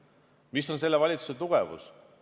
Mis on selle valitsuse tugevus?